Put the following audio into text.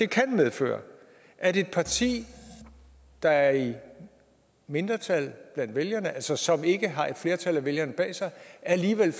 kan medføre at et parti der er i mindretal blandt vælgerne altså som ikke har et flertal af vælgerne bag sig alligevel